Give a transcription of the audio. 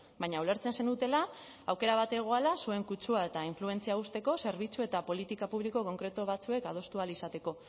baina ulertzen zenutela aukera bat zegoela zuen kutsua eta influentzia uzteko zerbitzu eta politika publiko konkretu batzuek adostu ahal izateko